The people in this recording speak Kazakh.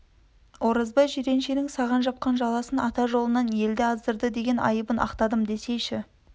оразбай жирен-шенің саған жапқан жаласын ата жолынан елді аздырды деген айыбын ақтадым десейші